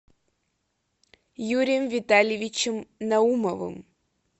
юрием витальевичем наумовым